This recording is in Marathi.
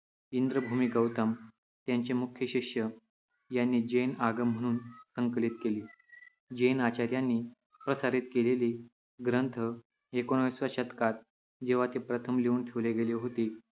इंद्रभूति गौतम त्यांचे मुख्य शिष्य यांनी जैन आगम म्हणून संकलित केली. जैन आचार्यांनी प्रसारित केलेले ग्रंथ एकोणिसाव्या शतकात जेव्हा ते प्रथम लिहून ठेवले गेले होते